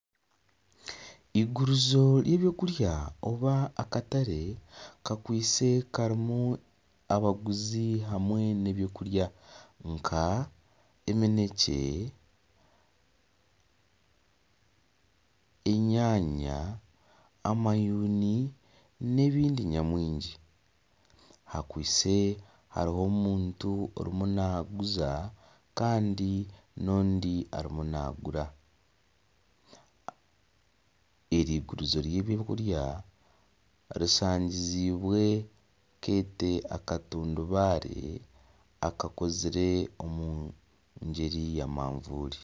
Eigurizo ry'ebyokurya oba akatare kakwaitse karimu abaguzi hamwe n'ebyokurya nk'eminekye. enyanya amayuuni n'ebindi nyamwingi hariho ondiijo omuntu orimu naaguza n'ondiijo arimu naagura eri eigurizo ry'ebyokurya rishangiziibwe akatambaare akakozire omu ngyeri ya manvuuri.